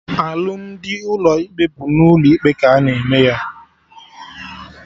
Alụmdi ụlọ ikpe bụ n'ụlọ ikpe ka a na-eme ya